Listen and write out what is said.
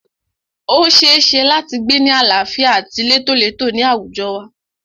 O ṣeéṣe láti gbé ni àlàáfíà àti létólètó ní àwùjọ wa.